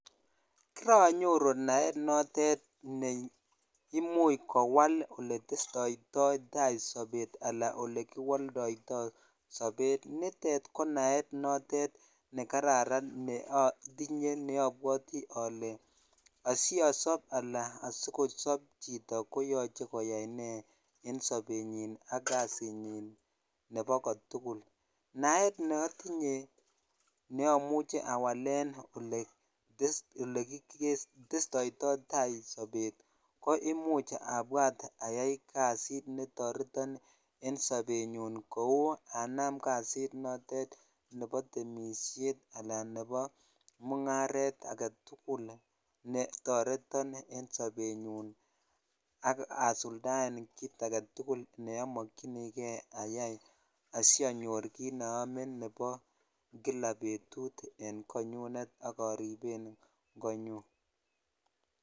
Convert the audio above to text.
kironyoru naet notet neimuch kowal ole testoittaitaa sobet ala ole kiwoldo tai sobet nitok konaet notet nekararan neotinyeneobwote ole asiosop alan asikosop chito koyoche koyai nee en sobenyin ak kasinyin nebo kotugul naet neotinye neomuche awalen ole testoitotaa sobet ko imuch abwat ayai kasit netoreton en sobenyun kou anam kasit notet nebo temisiet anan nebo mungaret agetugul netoreton en sobenyun ak asuldaen kit agetugul neomokyini kee ayai asiianyor kit neome nepo kila betut eny konyunet ak oripen konyun